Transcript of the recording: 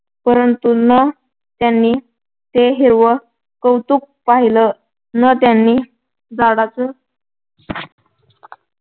परंतु न त्यांनी ते हिरवं कौतुक पाहिलं न त्यांनी झाडाच